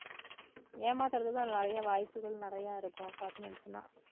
ஏமாத்துறதுக்கும் அதுல நிறைய வாய்ப்புகள் நிறைய இருக்கும் apartments னா